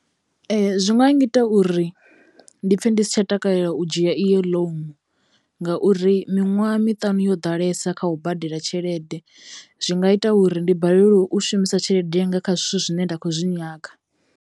Zwi nga nyita uri ndi pfhe ndi si tsha takalela u dzhia iyo loan ngauri miṅwaha miṱanu yo ḓalesa kha u badela tshelede, zwi nga ita uri ndi balelwe u shumisa tshelede yanga kha zwithu zwine nda khou zwi nyaga.